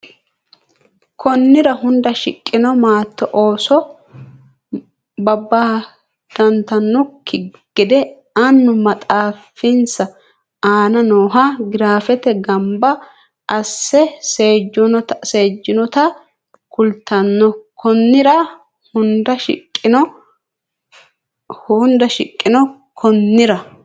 Konnira hunda shiqqino maatto ooso babbadantannokki gede annu maxaafinsa aana nooha giraafete gamba asse seejjinota kultanno Konnira hunda shiqqino Konnira.